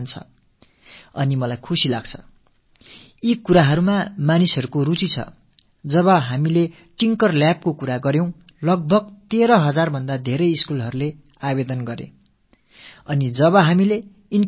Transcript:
நாங்கள் tinkering lab பற்றிப் பேசும் போது சுமார் 13000த்துக்கும் அதிகமான பள்ளிகள் விண்ணப்பித்திருக்கிறார்கள் என்பதும் நாங்கள் ஆக்க மையம் பற்றித் தெரிவித்த போது கல்வி சார் மற்றும் கல்வி சாராத 4000த்துக்கும் மேற்பட்ட அமைப்புக்கள் அத்தகைய மையங்களை அமைக்க முன்வந்திருக்கிறார்கள் என்பதும் மிகுந்த மகிழ்ச்சியை அளிக்கிறது